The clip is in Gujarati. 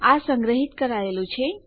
આ સંગ્રહિત કરાયેલું છે